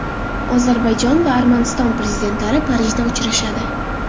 Ozarbayjon va Armaniston prezidentlari Parijda uchrashadi.